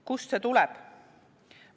Kust see tuleb?